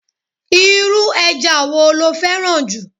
Irú eja wo lo féràn ju?